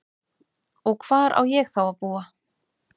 Og hvar á ég þá að búa?